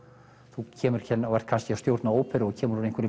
þú kemur hérna og ert kannski að stjórna óperu og kemur úr